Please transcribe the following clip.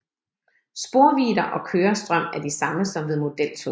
Sporvidder og kørestrøm er de samme som ved modeltog